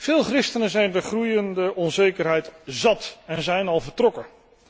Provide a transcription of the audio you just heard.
Veel christenen zijn de groeiende onzekerheid zat en zijn al vertrokken.